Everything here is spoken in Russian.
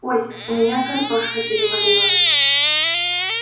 ой у меня картошка переварилась